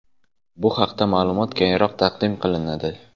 Bu haqda ma’lumot keyinroq taqdim qilinadi.